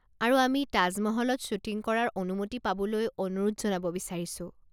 আৰু আমি তাজ মহলত শ্বুটিং কৰাৰ অনুমতি পাবলৈ অনুৰোধ জনাব বিচাৰিছো।